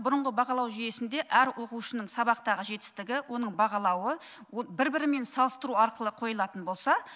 бұрынғы бағалау жүйесінде әр оқушының сабақтағы жетістігі оның бағалауы бір бірімен салыстыру арқылы қойылатын болса